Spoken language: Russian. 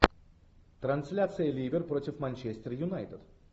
трансляция ливер против манчестер юнайтед